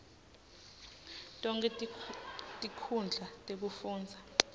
tonkhe tinkhundla tekufundza